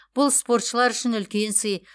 бұл спортшылар үшін үлкен сый